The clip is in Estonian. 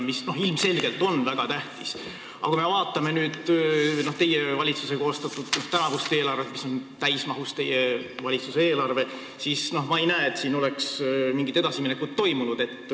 Ilmselgelt on see väga tähtis, aga kui me vaatame valitsuse koostatud tänavust eelarvet, mis on täismahus selle valitsuse eelarve, siis ma ei näe, et siin oleks mingit edasiminekut toimunud.